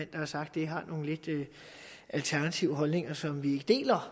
der har sagt det har nogle lidt alternative holdninger som vi ikke deler